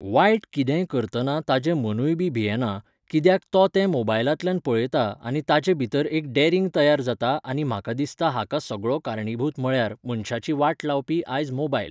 वायट कितेंय करतना ताचें मनूय बी भियेना, कित्याक तो तें मोबायलांतल्यान पळयता आनी ताचे भितर एक डॅरिंग तयार जाता आनी म्हाका दिसता हाका सगळो कारणीभूत म्हळ्यार, मनशाची वाट लावपी आयज मोबायल.